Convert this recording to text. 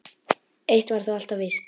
Eitt var þó alltaf víst.